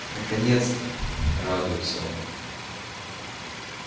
наконец-то радуется он